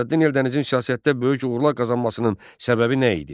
Şəmsəddin Eldənizin siyasətdə böyük uğurlar qazanmasının səbəbi nə idi?